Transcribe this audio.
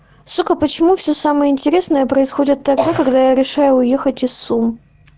сука почему все самое интересное происходит тогда когда я решаю уехать из сум